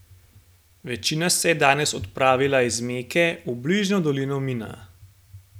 Večina se je danes odpravila iz Meke v bližnjo dolino Mina.